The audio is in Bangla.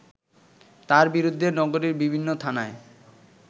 তার বিরুদ্ধে নগরীর বিভিন্ন থানায়